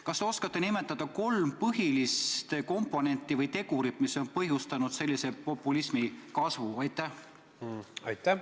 Kas te oskate nimetada kolm põhilist tegurit, mis on põhjustanud sellise populismi kasvu?